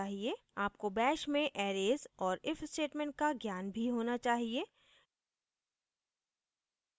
आपको bash में arrays और if statement का ज्ञान भी होना चाहिए